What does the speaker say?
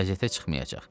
Qəzetə çıxmayacaq.